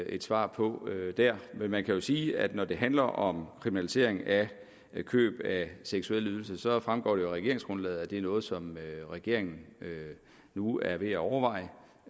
et svar på der men man kan jo sige at når det handler om kriminalisering af køb af seksuelle ydelser fremgår det af regeringsgrundlaget at det er noget som regeringen nu er ved at overveje